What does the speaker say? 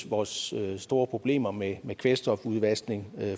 vores store problemer med med kvælstofudvaskning